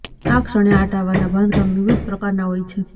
આ ક્ષણે આ ટાવરના બાંધકામ વિવિધ પ્રકારના હોય છે